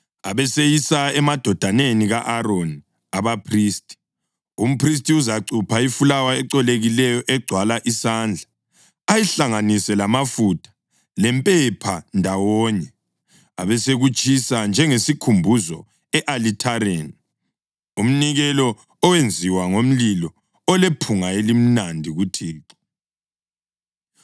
abeseyisa emadodaneni ka-Aroni, abaphristi. Umphristi uzacupha ifulawa ecolekileyo egcwala isandla, ayihlanganise lamafutha lempepha ndawonye, abesekutshisa njengesikhumbuzo e-alithareni, umnikelo owenziwa ngomlilo, olephunga elimnandi kuThixo.